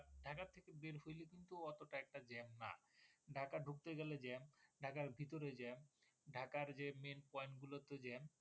ঢাকা ঢুকতে গেলে জ্যাম ঢাকার ভিতরে জ্যাম ঢাকার যে মেন্ পয়েন্ট গুলোতে জ্যাম